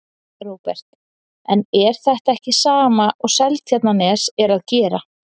Róbert: En er þetta ekki sama og Seltjarnarnes er að gera?